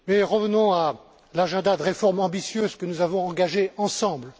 Revenons à l'agenda des réformes ambitieuses que nous avons engagées ensemble.